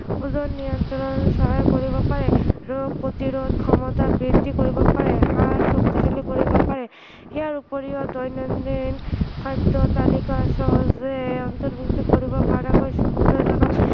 ওজন নিয়ন্ত্ৰণ সহায় কৰিব পাৰে, ৰোগ প্ৰতিৰোধ ক্ষমতা বৃদ্ধি কৰিব পাৰে, হাড় শক্তিশালী কৰিব পাৰে, ইয়াৰ উপৰিও দৈনন্দিন খাদ্য় তালিকাত সহজে অন্তৰ্ভূক্ত কৰিব পৰাকৈ সুবিধাজনক